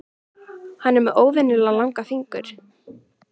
Hann er með óvenjulega langa fingur.